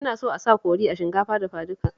Ina so a saka kori a shinkafa dafaduka